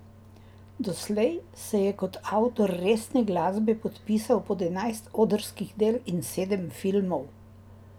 Doslej se je kot avtor resne glasbe podpisal pod enajst odrskih del in sedem filmov.